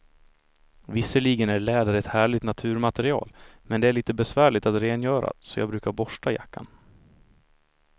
Visserligen är läder ett härligt naturmaterial, men det är lite besvärligt att rengöra, så jag brukar borsta jackan.